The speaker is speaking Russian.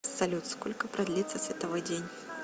салют сколько продлится световой день